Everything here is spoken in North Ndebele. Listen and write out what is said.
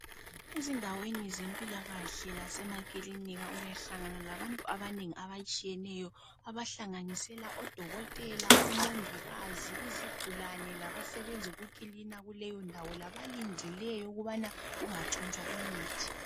Ezindaweni zempilakahle lasemakilinika uyahlangana labantu abanengi abatshiyeneyo abahlanganisela odokotela, umongikazi, izigulane labasebenza ukugcina indawo ihlanzekile. Bakhona njalo abalindileyo ukuthi imithi ingatshontshwa.